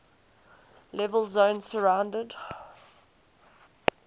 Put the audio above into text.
level zone surrounded